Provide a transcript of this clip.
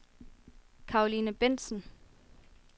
Caroline Bendtsen